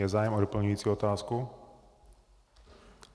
Je zájem o doplňující otázku?